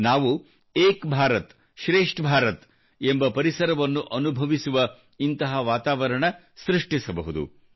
ನಾವು ಏಕ್ ಭಾರತ್ ಶ್ರೇಷ್ಠ ಭಾರತ ಎಂಬ ಪರಿಸರವನ್ನು ಅನುಭವಿಸುವ ಇಂತಹ ವಾತಾವರಣ ಸೃಷ್ಟಿಸಬಹುದು